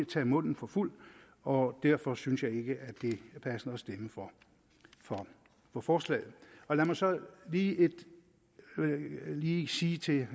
tage munden for fuld og derfor synes jeg ikke at det er passende at stemme for for forslaget lad mig så lige lige sige til